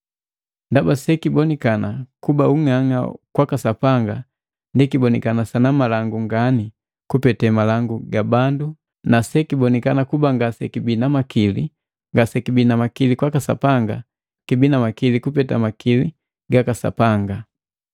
Ndaba sekibonekana kuba ung'anga waka Sapanga, ndi kibonikana sanamalangu ngani kupeta malangu ga bandu na sekibonikana kuba ngasekibii na makili kwaka Sapanga, kibina makili kupeta makili gaka Sapanga.